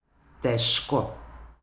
Težko.